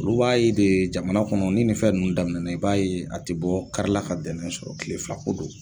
Olu b'a ye de jamana kɔnɔ ni nin fɛn ninnu daminɛna, i b'a ye a te bɔ kari la ka dɛnɛn sɔrɔ, tile fila ko don.